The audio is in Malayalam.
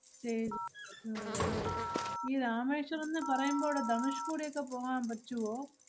stay അഹ് അല്ലേ ഈ രാമേശ്വരം ~ന്ന് പറയുമ്പോഴ് ധനുഷ്‌കോടിയൊക്കെ പോകാമ്പറ്റുവോ?